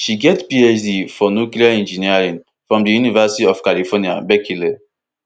she get phd for nuclear engineering from di university of california berkeley